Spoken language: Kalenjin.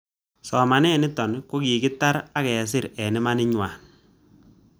Somanet nitok ko kokitar ak kesir eng' imanit ng'wai